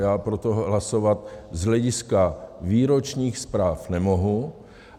Já pro to hlasovat z hlediska výročních zpráv nemohu.